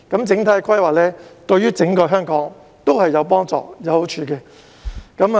整體規劃對整個香港都有幫助、有好處。